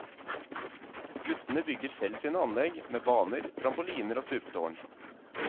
Guttene bygger selv sine anlegg, med baner, trampoliner og stupetårn.